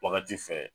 Wagati fɛ